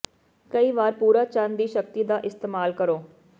ਕਈ ਵਾਰ ਪੂਰਾ ਚੰਨ ਦੀ ਸ਼ਕਤੀ ਦਾ ਇਸਤੇਮਾਲ ਕਰੋ